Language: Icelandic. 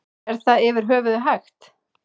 Er það yfir höfuð hægt?